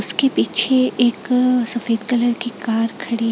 उसके पीछे एक सफेद कलर की कार खड़ी--